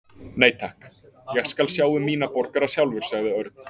Nei, takk, ég skal sjá um mína borgara sjálfur sagði Örn.